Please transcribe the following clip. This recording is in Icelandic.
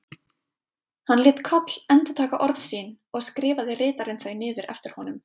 Hann lét Koll endurtaka orð sín og skrifaði ritarinn þau niður eftir honum.